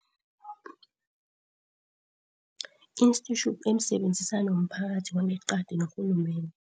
Institute, emsebenzisani womphakathi wangeqadi norhulumende.